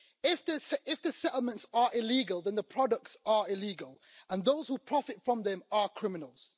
If the settlements are illegal, then the products are illegal, and those who profit from them are criminals.